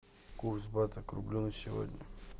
курс бата к рублю на сегодня